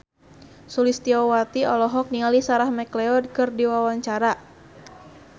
Sulistyowati olohok ningali Sarah McLeod keur diwawancara